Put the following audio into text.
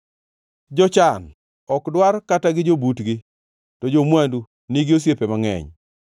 Jochan ok dwar kata gi jobutgi, to jo-mwandu nigi osiepe mangʼeny.